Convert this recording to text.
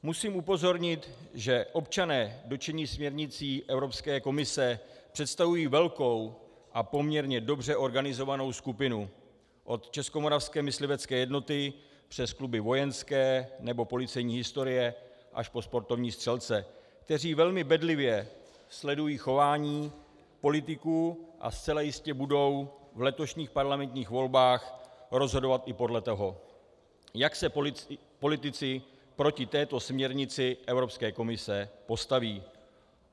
Musím upozornit, že občané dotčení směrnicí Evropské komise představují velkou a poměrně dobře organizovanou skupinu od Českomoravské myslivecké jednoty přes kluby vojenské nebo policejní historie až po sportovní střelce, kteří velmi bedlivě sledují chování politiků a zcela jistě budou v letošních parlamentních volbách rozhodovat i podle toho, jak se politici proti této směrnici Evropské komise postaví.